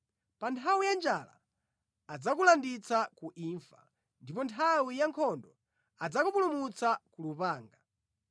Pa nthawi ya njala adzakulanditsa ku imfa, ndipo nthawi ya nkhondo adzakupulumutsa ku lupanga.